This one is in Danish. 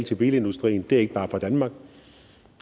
til bilindustrien ikke bare fra danmark